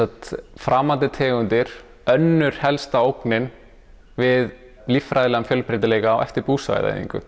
framandi tegundir önnur helsta ógnin við líffræðilegan fjölbreytileika á eftir